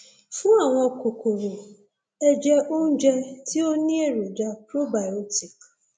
fún àwọn kòkòrò ẹ jẹ oúnjẹ tí ó ní èròjà probiotic